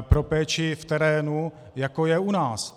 pro péči v terénu, jako je u nás.